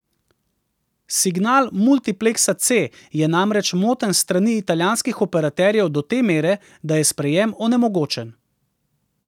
Signal multipleksa C je namreč moten s strani italijanskih operaterjev do te mere, da je sprejem onemogočen.